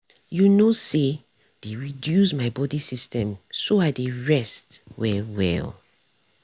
you know say dey reduce my body system so i dey rest well well.